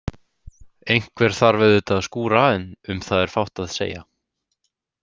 Einhver þarf auðvitað að skúra en um það er fátt að segja.